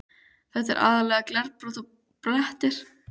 Þetta er aðallega glerbrot og blettir.